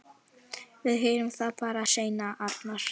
Við heyrum það bara seinna, Arnar.